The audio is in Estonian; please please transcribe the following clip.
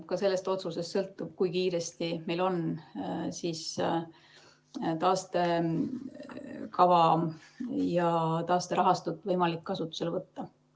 Ka sellest otsusest sõltub, kui kiiresti meil on taastekava ja taasterahastut võimalik kasutusele võtta.